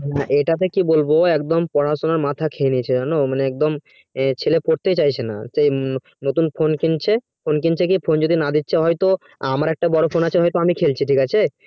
এটা কে কি বলবো এখন পড়াশোনার মাথা খেয়ে নিয়েছে তো একদম ছেলে পড়তেই চাইছে না সেই মতম নতুন phone কিনছে তো phone যদি না দিচ্ছে হয় তো আমার একটা বড়ো phone আছে হয় তো আমি খেলছি ঠিক আছে